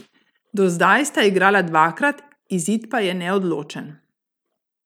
Do zdaj sta igrala dvakrat, izid pa je neodločen.